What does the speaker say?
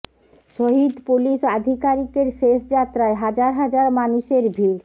শহিদ পুলিশ আধিকারিকের শেষ যাত্রায় হাজার হাজার মানুষের ভিড়